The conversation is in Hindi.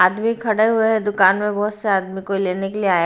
आदमी खड़े हुए हैं दुकान में बहुत से आदमी कोई लेने के लिए आया--